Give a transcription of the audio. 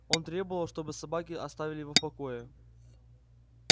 он требовал чтобы собаки оставили его в покое